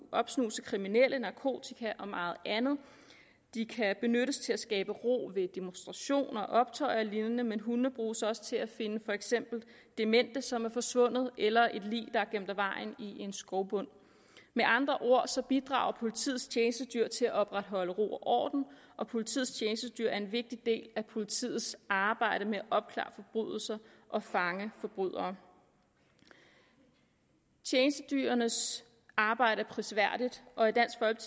opsnuse kriminelle narkotika og meget andet de kan benyttes til at skabe ro ved demonstrationer optøjer og lignende men hundene bruges også til at finde for eksempel demente som er forsvundet eller et lig der er gemt af vejen i en skovbund med andre ord bidrager politiets tjenestedyr til at opretholde ro og orden og politiets tjenestedyr er en vigtig del af politiets arbejde med at opklare forbrydelser og fange forbrydere tjenestedyrenes arbejde er prisværdigt og